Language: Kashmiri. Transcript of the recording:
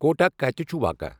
کوٹا کتِہ چُھ واقع؟